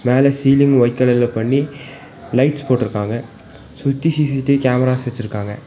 மேல ceiling white கலர்ல பண்ணி லைட்ஸ் போட்ருக்காங்க சுத்தி சி_சி_டி_வி கேம்ராஸ் வெச்சுருக்காங்க.